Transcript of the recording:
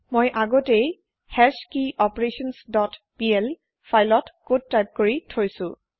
মই আগতেই hash key operations dot PL ফাইলত কদ টাইপ কৰি থৈছো